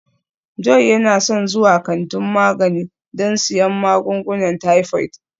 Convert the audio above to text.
Joy yana son zuwa kantin magani don siyan magungunan typhoid